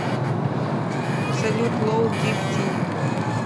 салют лоу дип ти